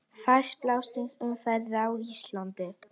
Fæst banaslys í umferð á Íslandi